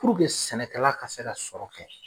sɛnɛkɛla ka se ka sɔrɔ kɛ